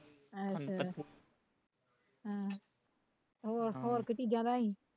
ਅੱਛਾ ਅਹ ਹੋਰ ਹੋਰ ਕੋਈ ਚੀਜ਼ਾਂ ਲੈ ਆਈ